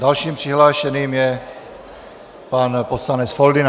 Dalším přihlášeným je pan poslanec Foldyna.